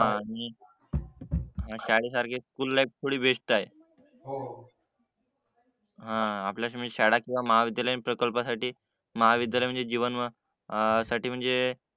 आणि शाळेसारखी school life थोडी बेस्ट आहे हो हो आपल्या शाळा महाविद्यालयीन प्रकल्पासाठी महाविद्यालयीन जीवनसाठी म्हणजे